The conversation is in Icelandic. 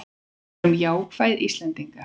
Verum jákvæð Íslendingar!